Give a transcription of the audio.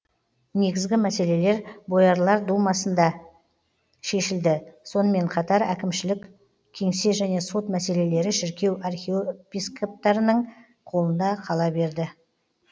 негізгі мәселелер боярлар думасында шешілді сонымен қатар әкімшілік кеңсе және сот мәселелері шіркеу архиопископтарының қолында қала берді